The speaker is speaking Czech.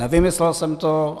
Nevymyslel jsem to.